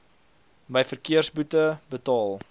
my verkeersboete betaal